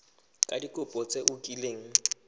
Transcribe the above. ka dikopo tse o kileng